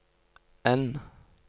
N